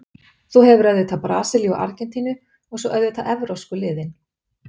Þú hefur auðvitað Brasilíu og Argentínu og svo auðvitað evrópsku liðin.